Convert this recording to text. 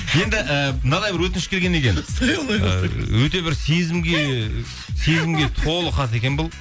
енді ііі мынадай бір өтініш келген екен ыыы өте бір сезімге толы хат екен бұл